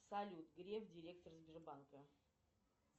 салют греф директор сбербанка